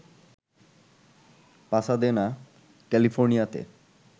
Pasadena, ক্যালিফোর্নিয়াতে